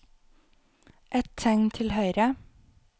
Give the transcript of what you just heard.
Ett tegn til høyre